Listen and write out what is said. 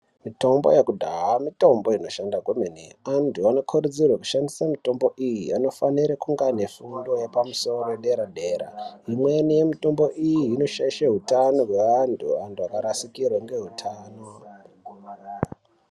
Mitombo yekudhaya mitombo inoshanda kwemene, antu anokurudzirwe kushandisa mitombo iyi anofanire kunge ane fundo yepamusoro yedera dera. Imweni mitombo iyi inoshaishira hutano hweantu antu akarasikirwa ngeutano.